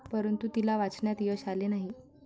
परंतु, तिला वाचवण्यात यश आले नाही.